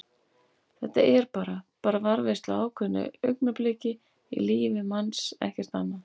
Þetta er bara. bara varðveisla á ákveðnu augnabliki í lífi manns, ekkert annað.